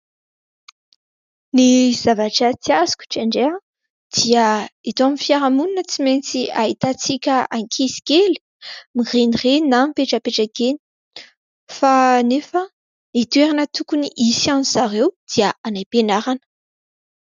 Ny zavatra tsy azoko indraindray dia eto amin'ny fiarahamonina tsy maintsy ahitantsika ankizikely mirenireny na mipetrapetraka eny fa nefa ny toerana tokony hisy an'izy ireo dia any am-pianarana.